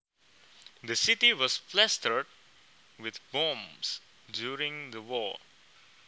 The city was plastered with bombs during the war